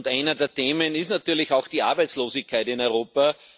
Eines der Themen ist natürlich auch die Arbeitslosigkeit in Europa.